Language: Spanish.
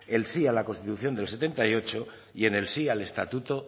el sí a la constitución del mil novecientos setenta y ocho y en el sí al estatuto